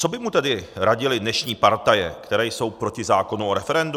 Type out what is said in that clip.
Co by mu tedy radily dnešní partaje, které jsou proti zákonu o referendu?